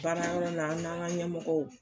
Baarayɔrɔ la an n'an ŋa ɲɛmɔgɔw